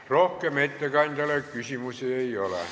Rohkem ettekandjale küsimusi ei ole.